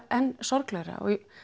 enn sorglegra